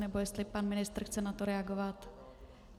Nebo jestli pan ministr chce na to reagovat?